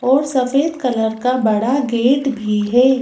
और सफेद कलर का बड़ा गेट भी है।